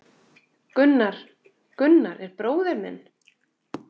Gunnar, Gunnar er bróðir minn.